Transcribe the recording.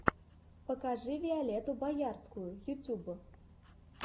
покажи виолетту боярскую ютюб